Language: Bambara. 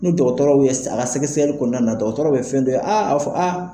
Ni dɔgɔtɔrow ye a ka sɛgɛsɛ kɔnɔna na dɔgɔtɔrɔw ye fɛn dɔ ye a a b'a fɔ a.